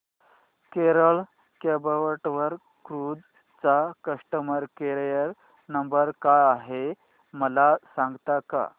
Kerala backwater cruise चा customer care number काय आहे मला सांगता का